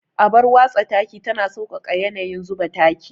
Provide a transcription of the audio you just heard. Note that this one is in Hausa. Abar watsa taki tana sauƙaƙa yanayin zuba taki.